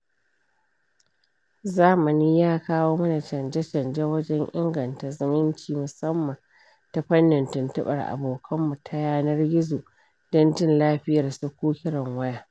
Zamani ya kawo mana canje-canje wajen inganta zumunci musamman ta fannin tuntubar abokan mu ta yanar gizo don jin lafiyar su ko kiran waya.